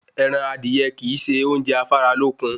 Ẹran adìye kìí se oúnjẹ afáralókun